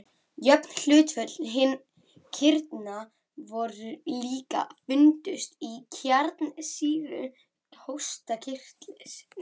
Jöfn hlutföll kirna höfðu líka fundist í kjarnsýru hóstarkirtils.